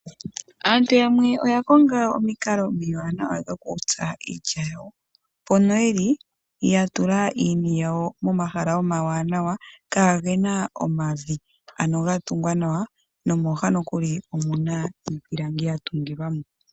Aantu yamwe oya Konga omikalo omiwanawa dhokutsa iilya yawo, mpono yeli ya tula iini yawo momahala omawanawa kaayena omavi aano ga tungwa nawa nomooha nokuli omuna iipilangi ya tungilwa mo.